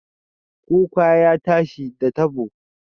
Kuka ya tashi, da tabo